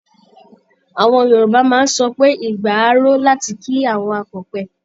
Àwọn Yorùbá máa ń sọ pé "igba á ro" láti ki àwọn akọ̀pẹ.